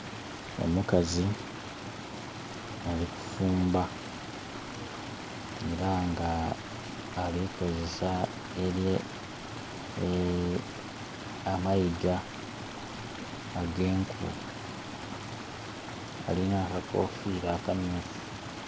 Omukazi ali kufumba era nga alikozesa ameiga agenku alina akakofira akamyufu.